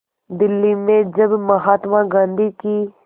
दिल्ली में जब महात्मा गांधी की